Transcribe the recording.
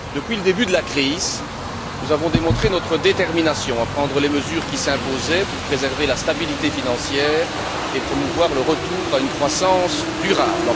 Depuis le début de la crise, nous avons démontré notre détermination à prendre les mesures qui s'imposaient pour préserver la stabilité financière et promouvoir le retour à une croissance durable.